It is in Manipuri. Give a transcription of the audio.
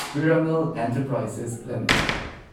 Piramal enterprises limited